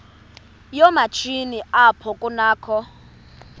yoomatshini apho kunakho